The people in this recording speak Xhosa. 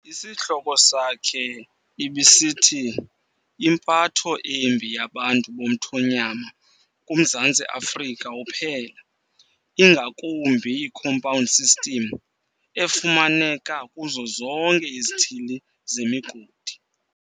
Isihloko sakhe ibisithi "impatho embi yabantu bomthonyama kuMzantsi Afrika uphela, ingakumbi iCompound System efumaneka kuzo zonke izithili zemigodi".